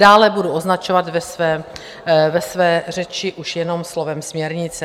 Dále budu označovat ve své řeči už jen slovem směrnice.